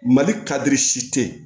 Mali kadiri si tɛ ye